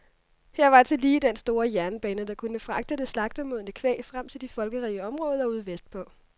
Her var tillige den store jernbane, der kunne fragte det slagtemodne kvæg frem til de folkerige områder ude vestpå.